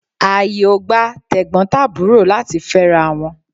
Àyè ò gba Tẹ̀gbọ́n tàbúrò láti fẹ́ra wọn.